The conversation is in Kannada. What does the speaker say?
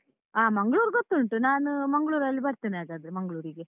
ಹಾ ಮಂಗ್ಳೂರ್ ಗೊತ್ತುಂಟು, ನಾನು ಮಂಗ್ಳೂರಲ್ಲಿ ಬರ್ತೇನೆ ಹಾಗಾದ್ರೆ ಮಂಗ್ಳೂರಿಗೆ.